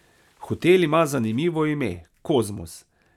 Hotel ima zanimivo ime, Kozmos.